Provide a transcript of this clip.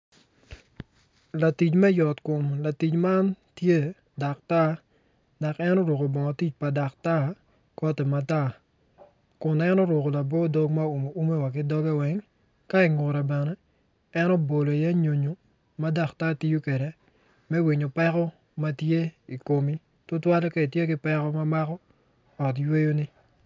Latic me yot komlatic man tye daktar dok en oruko bongo tic pa daktar koyti matar kun en oruko labo dog ma owumo ume wa ki doge weng ka ingute bene en obolo iye nyonyo ma daktar tiyo kwede me winyo peko ma tye i komi tutwale ka itye ki peko ma mako ot yweyoni.